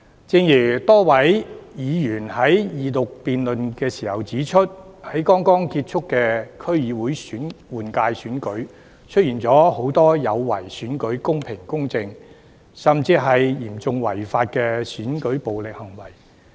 正如多位議員在二讀辯論時指出，在剛剛結束的區議會換屆選舉中，出現了很多有違選舉公平公正，甚至嚴重違法的選舉暴力行為。